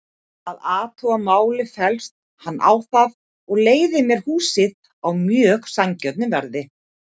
Að athuguðu máli féllst hann á það og leigði mér húsið á mjög sanngjörnu verði.